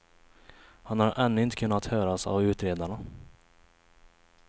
Han har ännu inte kunnat höras av utredarna.